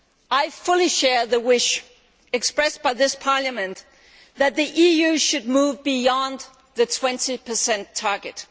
I fully share the wish expressed by this Parliament that the EU should move beyond the 20 target.